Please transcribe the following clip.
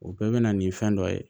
O bɛɛ bɛ na nin fɛn dɔ ye